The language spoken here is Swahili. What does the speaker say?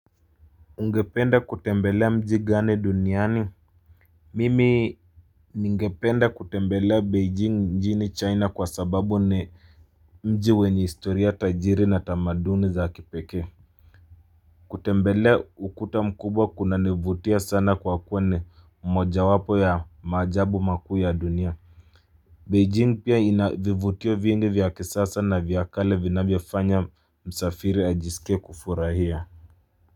Ungependa kutembelea mji gani duniani. Mimi ningependa kutembelea beijing mjini china kwa sababu ni mji wenye historia tajiri na tamaduni za kipekee. Kutembelea ukuta mkubwa kunanivutia sana kwa kuwa ni mojawapo ya maajabu makuu ya dunia beijing pia ina vivutio vingi vya kisasa na vya kale vinavyofanya msafiri ajisikie kufurahia.